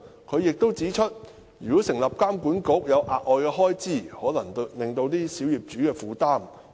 他亦指出，如果成立監管局涉及額外開支，可能會加重小業主的負擔。